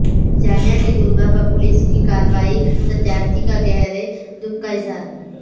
جامعہ کے طلبہ پر پولیس کارروائی ستیارتھی کا گہرے دکھ کا اظہار